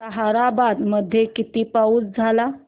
ताहराबाद मध्ये किती पाऊस झाला